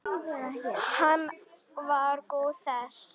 Hann var góður þessi.